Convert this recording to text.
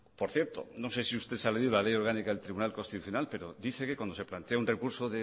por cierto no sé si usted ha leído la ley orgánica del tribunal constitucional pero dice que cuando se plantea un recurso